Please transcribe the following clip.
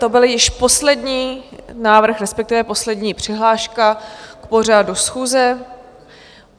To byl již poslední návrh, respektive poslední přihláška k pořadu schůze.